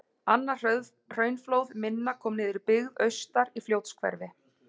Annað hraunflóð minna kom niður í byggð austar, í Fljótshverfi.